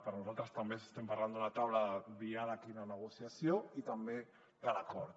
per nosaltres també estem parlant d’una taula de diàleg i una negociació i també de l’acord